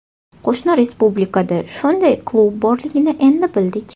Qo‘shni respublikada shunday klub borligini endi bildik.